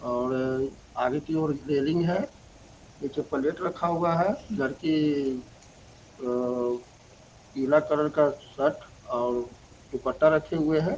और आगे की और एक रेलिंग है नीचे प्लेट रखा हुआ है लड़की पीला कलर शर्ट और दुपट्टा रखे हुए है।